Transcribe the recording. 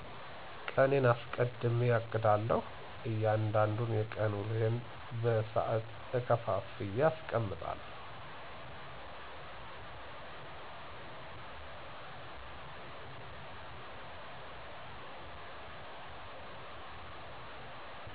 ቀኔን እስቀድሜ አቅዳለሁ፤ እያንዳንዱን የቀን ውሎየን በሳዐት ከፋፍየ አስቀምጣለሁ።